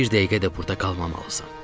Bir dəqiqə də burda qalmamalısan.